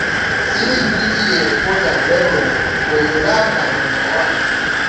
Civic duty dey important well well but your life na number one.